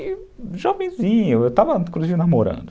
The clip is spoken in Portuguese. E jovenzinho, eu estava, inclusive, namorando.